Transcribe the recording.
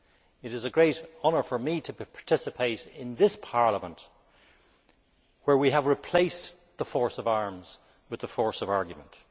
It is a great honour for me to participate in this Parliament, where we have replaced the force of arms with the force of argument.